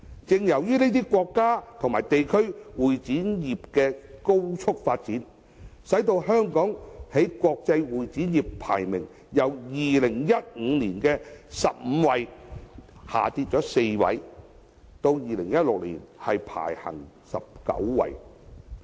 由於這些國家和地區會展業的高速發展，香港在國際會展業的排名已由2015年的第十五位，下跌4位至2016年的第十九位。